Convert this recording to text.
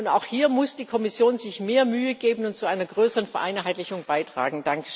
Und auch hier muss die Kommission sich mehr Mühe geben und zu einer größeren Vereinheitlichung beitragen.